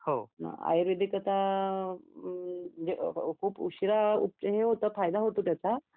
आयुर्वेदिक आता म्हणजे हं खूप उशिरा हे होतो फायदा होतो त्याचा